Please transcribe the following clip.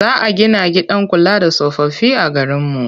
Za a gina gidan kula da tsofaffi a garinmu.